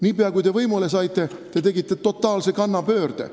Niipea, kui te võimule saite, te tegite totaalse kannapöörde.